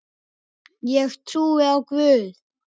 Ég trúi á Guð!